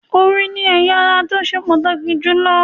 Orí ni ẹ̀ya ara tó ṣe pàtàkì jù lọ